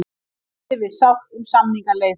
Standi við sátt um samningaleið